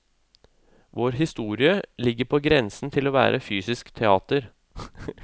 Vår historie ligger på grensen til å være fysisk teater.